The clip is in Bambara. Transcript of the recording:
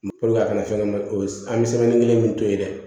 a kana fɛn kɛ o an bɛ kelen min to yen dɛ